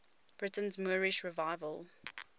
britain's moorish revival